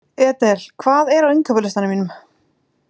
Edel, hvað er á innkaupalistanum mínum?